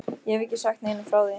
Ég hef ekki sagt neinum frá því.